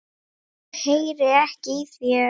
Ég heyri ekki í þér.